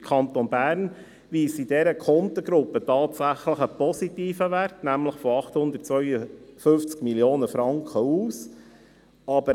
Der Kanton Bern weist in dieser Kontengruppe tatsächlich einen positiven Wert aus, nämlich 852 Mio. Franken.